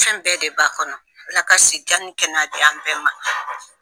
Fɛn bɛɛ de b'a kɔnɔ, Ala ka si jan ni kɛnɛya di an ma.